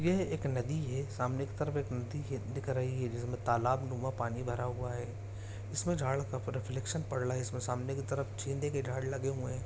ये एक नदी है सामने की तरफ एक नदी है दिख रही है जिसमें तालाब में पानी भरा हुआ है इसमें झाड़ इसमें सामने की तरफ चिन्दे की ढ़ेरी लगे हुए है।